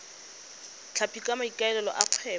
tlhapi ka maikaelelo a kgwebo